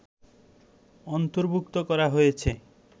অন্তর্ভুক্ত করা হয়েছে